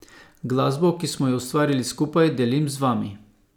Glasbo, ki smo jo ustvarili skupaj, delim z vami.